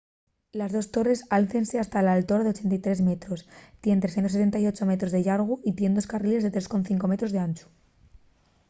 les dos torres álcense hasta un altor de 83 metros tien 378 metros de llargu y tien dos carriles de 3,5 m d’anchu